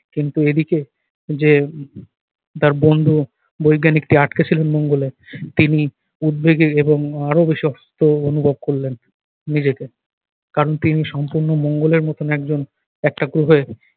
কিন্তু এদিকে যে তার বন্ধু বৈজ্ঞানিকটি আটকে ছিলেন মঙ্গলে। তিনি উদ্বেগে এবং আরো বেশি অসুস্থ অনুভব করলেন নিজেকে। কারণ তিনি সম্পূর্ণ মঙ্গলের মতো একজন একটা গ্রহে